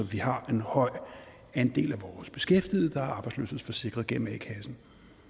vi har en høj andel af vores beskæftigede der er arbejdsløshedsforsikrede gennem a kassen